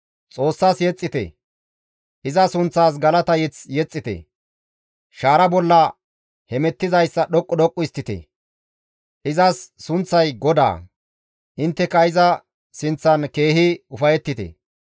Xoossas yexxite; iza sunththas galata mazamure yexxite. Shaara bollara hemettizayssa dhoqqu dhoqqu histtite; izas sunththay GODAA; intteka iza sinththan keehi ufayettite.